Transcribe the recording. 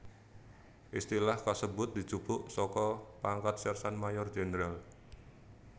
Istilah kasebut dijupuk saka pangkat Sersan Mayor Jènderal